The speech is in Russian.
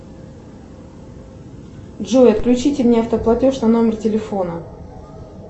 джой отключите мне автоплатеж на номер телефона